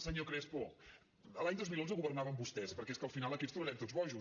senyor crespo l’any dos mil onze governaven vostès perquè és que al final aquí ens tornarem tots bojos